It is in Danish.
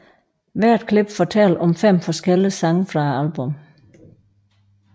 Hvert klip fortæller om fem forskellige sange fra albummet